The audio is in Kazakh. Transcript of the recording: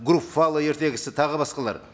груффало ертегісі тағы басқалар